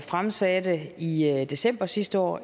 fremsatte i i december sidste år